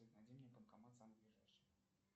найди мне банкомат самый ближайший